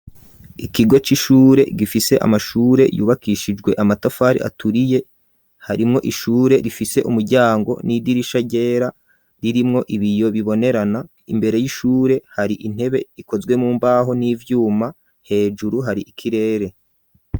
Ikigo c'ishure gifise amashure yubakishijwe amatafari aturiye harimwo ishure rifise umuryango n'idirisha ryera ririmwo ibiyo bibonerana imbere y'ishure hari intebe ikozwe mu mbaho n'ivyuma hejuru hari ikirere.